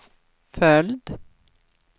följd